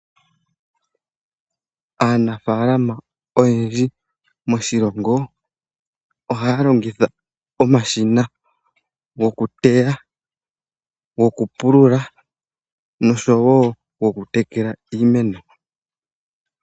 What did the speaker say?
Aanafaalama oyendji moshilongo ohaya longitha omashina gokuteya, gokupulula noshowo gokutekela iimeno.